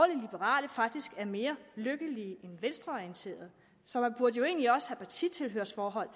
liberale faktisk er mere lykkelige end venstreorienterede så man burde jo egentlig også have partitilhørsforhold